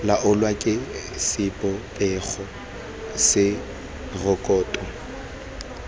laolwa ke sebopego se rekoto